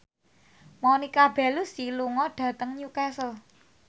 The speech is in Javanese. Monica Belluci lunga dhateng Newcastle